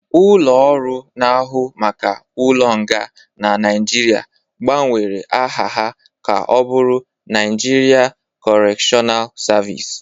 Ulo-ọru na ahụ maka ụlo nga na Nigeria gba nwere aha ha ka ọbụrụ Naijiria kọretional servịce